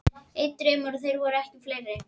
Einn draumur, og þeir voru ekki fleiri.